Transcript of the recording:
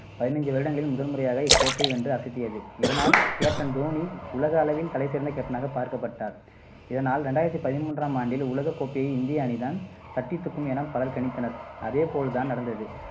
பதினைஞ்சு வருடங்களில் முதல்முறையாக இக்கோப்பையை வென்று அசத்தியது. இதனால், captain தோனி உலக அளவில் தலைசிறந்த captain னாக பார்க்கப்பட்டார். இதனால் ரெண்டாயிரத்தி பதிமூன்றாம் ஆண்டு உலகக் கோப்பையை இந்திய அணிதான் தட்டித்தூக்கும் என பலர் கணித்தனர். அதேபோல் தான் நடந்தது.